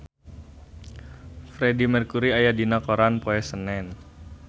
Freedie Mercury aya dina koran poe Senen